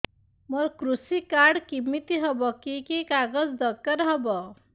ମୋର କୃଷି କାର୍ଡ କିମିତି ହବ କି କି କାଗଜ ଦରକାର ହବ